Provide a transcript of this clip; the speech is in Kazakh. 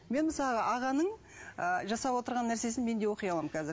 мен мысалға ағаның ы жасап отырған нәрсесін мен де оқи аламын қазір